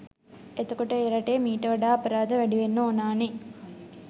එතකොට ඒ රටේ මීට වඩා අපරාධ වැඩි වෙන්න ඕනා නේ